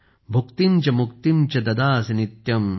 भुक्तिम् च मुक्तिम् च ददासि नित्यम्